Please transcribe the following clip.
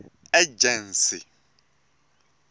ejensi